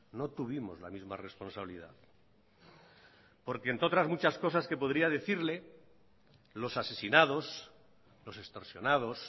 no tuvimos la misma responsabilidad porque entre otras muchas cosas que podría decirle los asesinados los extorsionados